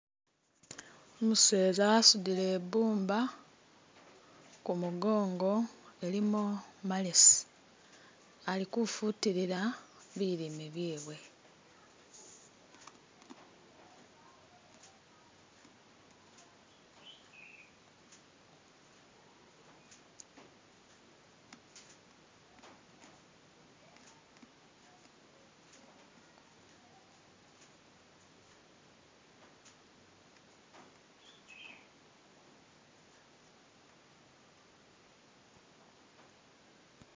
Umuseza asudile ibuumba ku mugongo ilimo. malesi ali kufutilila bilime byewe.